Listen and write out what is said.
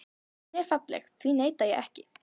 Hún er falleg, því neita ég ekki.